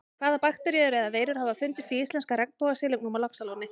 Hvaða bakteríur eða veirur hafa fundist í íslenska regnbogasilungnum á Laxalóni?